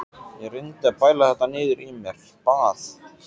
Ég reyndi að bæla þetta niður í mér, bað